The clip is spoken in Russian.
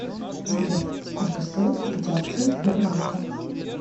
сбер сколько стоит купить акцию сбербанка